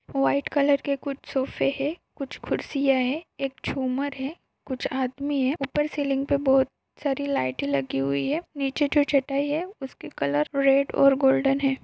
White colour के कुछ सोफ़े है कुछ कुर्सीया है एक झुमर है कुछ आदमी है ऊपर सेलिंग पे बहुत सारी लाइटे लगी हुई है नीचे जो चटाई है उसकी कलर रेड और गोल्डन है।